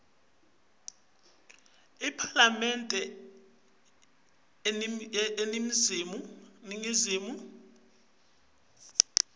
lekubhalela iphalamende incwadzisikhalo